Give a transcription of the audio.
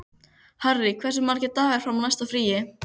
Harry, hversu margir dagar fram að næsta fríi?